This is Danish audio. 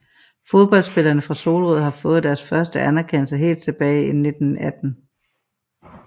Fodboldspillerne fra Solrød har fået deres første anerkendelse helt tilbage i 1918